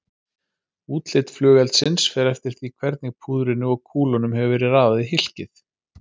Útlit flugeldsins fer eftir því hvernig púðrinu og kúlunum hefur verið raðað í hylkið.